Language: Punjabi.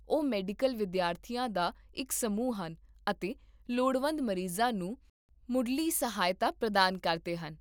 ਉਹ ਮੈਡੀਕਲ ਵਿਦਿਆਰਥੀਆਂ ਦਾ ਇੱਕ ਸਮੂਹ ਹਨ ਅਤੇ ਲੋੜਵੰਦ ਮਰੀਜ਼ਾਂ ਨੂੰ ਮੁੱਢਲੀ ਸਹਾਇਤਾ ਪ੍ਰਦਾਨ ਕਰਦੇ ਹਨ